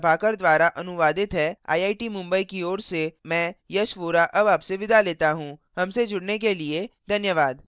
यह स्क्रिप्ट प्रभाकर द्वारा अनुवादित है आई आई टी मुंबई की ओर से मैं यश वोरा अब आपसे विदा लेता हूँ हमसे जुड़ने के लिए धन्यवाद